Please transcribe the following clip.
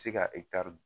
Se ka ekitari